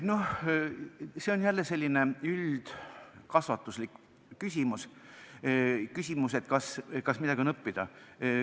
See on jälle selline üldkasvatuslik küsimus, et kas midagi on õppida.